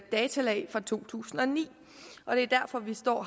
data for to tusind og ni og det er derfor vi står